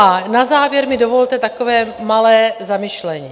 A na závěr mi dovolte takové malé zamyšlení.